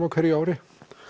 á hverju ári